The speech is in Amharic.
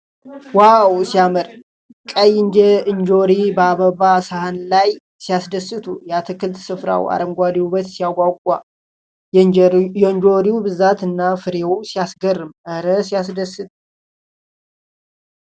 ዋው ሲያምር ! ቀይ እንጆሪዎች በአበባ ሳህን ላይ ሲያስደስቱ ! የአትክልት ስፍራው አረንጓዴ ውበት ሲያጓጓ ! የእንጆሪው ብዛትና ፍሬው ሲያስገርም ! እረ ሲያስደስት!